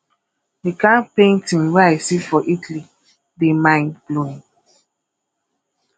the kin painting wey i see for italy dey mind blowing